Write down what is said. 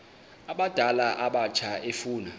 abadala abatsha efuna